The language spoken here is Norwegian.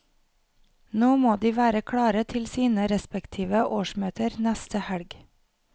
Nå må de være klare til sine respektive årsmøter neste helg.